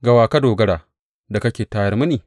Ga wa ka dogara, da kake tayar mini?